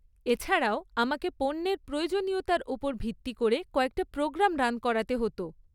এছাড়াও আমাকে পণ্যের প্রয়োজনীয়তার ওপর ভিত্তি করে কয়েকটা প্রোগ্রাম রান করাতে হত।